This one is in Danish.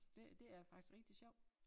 Det det er faktisk rigtig sjovt